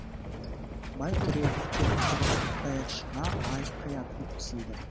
бай түрегеп тұрып даяршыға аятын ұсынды